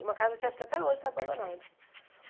Em uma casa que acho que até hoje está abandonada.